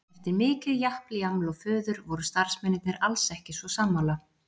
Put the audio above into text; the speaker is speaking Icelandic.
Eftir mikið japl, jaml og fuður voru starfsmennirnir alls ekki svo sammála.